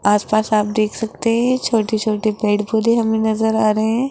आस पास आप देख सकते है छोटे छोटे पेड़ पौधे हमें नजर आ रहे--